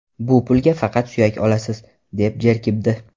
Bu pulga faqat suyak olasiz”, deb jerkibdi.